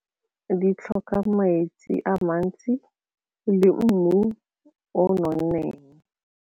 Di tlhoka metsi a mantsi le mmu o o nonneng.